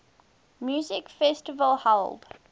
music festival held